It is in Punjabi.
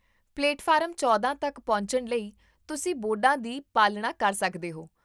ਪਲੇਟਫਾਰਮ ਚੌਦਾਂ ਤੱਕ ਪਹੁੰਚਣ ਲਈ ਤੁਸੀਂ ਬੋਰਡਾਂ ਦੀ ਪਾਲਣਾ ਕਰ ਸਕਦੇ ਹੋ